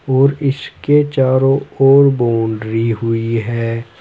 और इसके चारों ओर बाउंड्री हुई है।